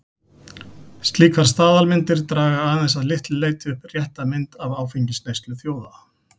Slíkar staðalmyndir draga aðeins að litlu leyti upp rétta mynd af áfengisneyslu þjóða.